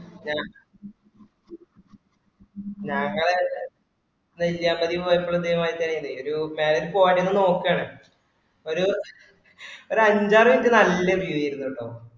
ഞങ്ങേ ഞങ്ങളെ നെല്യാമ്പതി പോയപ്പോളും ഇതേ മാതിരി തന്നെയനും ഒര് നോക്കാണ് ഒര് അഞ്ചാറ് minute നല്ല view ആയിരുന്ന് കേട്ടൊ